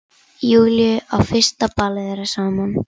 Júlíu á fyrsta ballið þeirra saman.